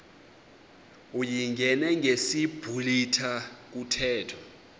uyingene ngesiblwitha kuthethwa